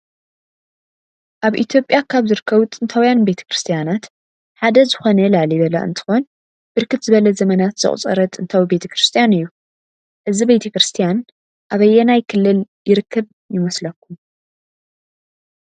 አብ ኢትዮጲያ ካብ ዝርከቡ ጥንታዊያን ቤተ ክርስትያናት ሓደ ዝኮነ ላሊበላ እንትኮን ብርክት ዝበለ ዘመናት ዘቁፀረ ጥንታዊ ቤተ ክርስትያን እዩ። እዚ ቤተ ክርስትያን አበየናይ ክልል ይርከብ ይመስለኩም?